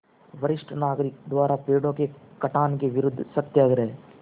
वरिष्ठ नागरिक द्वारा पेड़ों के कटान के विरूद्ध सत्याग्रह